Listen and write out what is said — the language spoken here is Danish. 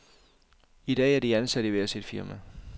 I dag er de ansat i hver sit firma.